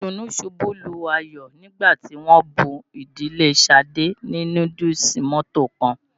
Ìdùnú ṣubú layọ̀ nígbà tí wọ́n bún ìdílé Ṣadé ní núdúùsù mọ́to kan.